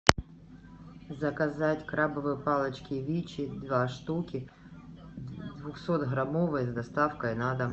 заказать крабовые палочки вичи два штуки двухсотграммовые с доставкой на дом